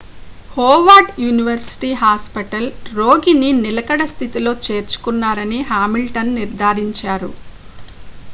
Howard University Hospital రోగిని నిలకడ స్థితిలో చేర్చుకున్నారని హామిల్టన్ నిర్ధారించారు